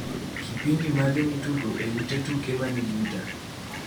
Kipindi mage mitugo e ot tuke mani buta?